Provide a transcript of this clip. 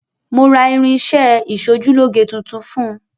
Mo ra irin-iṣẹ́ ẹ ìsojúlóge tuntun fún un.